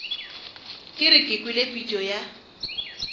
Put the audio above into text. ke re kwele pitšo ya